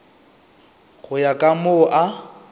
go ya ka moo a